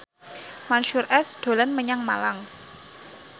Mansyur S dolan menyang Malang